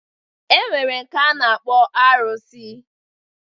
E nwere nke a na-akpọ arụsị.